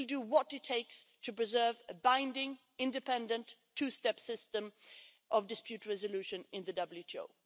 We will do what it takes to preserve a binding, independent, two step system of dispute resolution in the WTO.